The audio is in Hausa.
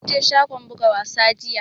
Mun je shagon buga wasa jiya